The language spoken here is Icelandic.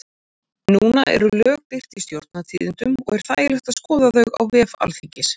Núna eru lög birt í Stjórnartíðindum og er þægilegt að skoða þau á vef Alþingis.